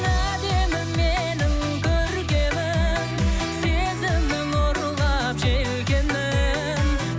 әдемім менің көркемім сезімнің ұрлап желкенін